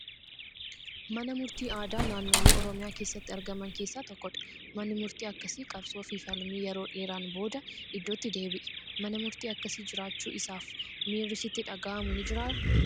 Mana murtii aadaa naannolee Oromiyaa keessatti argaman keessaa tokkodha. Manni murtii akkasii qabsoo fi falmii yeroo dheeraan booda iddootti deebi'e. Mana murtii akkasii jiraachuu isaaf miirri sitti dhagahamu ni jiraa?